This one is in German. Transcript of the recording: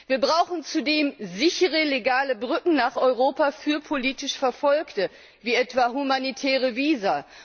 Wir brauchen zudem sichere legale Brücken nach Europa für politisch Verfolgte, wie etwa humanitäre Visa.